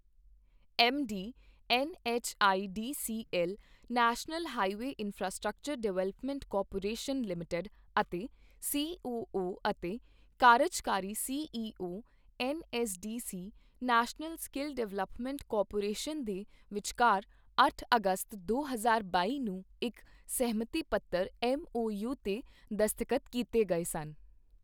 MD, NHIDCL National Highway Infrastructure Development Corporation Limited ਅਤੇ COO ਅਤੇ ਕਾਰਜਕਾਰੀ CEO, NSDC National Skill Development Corporation ਦੇ ਵਿਚਕਾਰ ਅੱਠ ਅਗਸਤ ਦੋ ਹਜ਼ਾਰ ਬਾਈ ਨੂੰ ਇੱਕ ਸਹਿਮਤੀ ਪੱਤਰ ਐੱਮਓਯੂ ਤੇ ਦਸਤਖਤ ਕੀਤੇ ਗਏ ਸਨ।